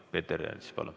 Peeter Ernits, palun!